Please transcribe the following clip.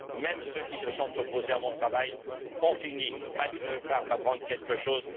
Même ceux qui se sont opposés à mon travail ont fini malgré eux par m'apprendre quelque chose.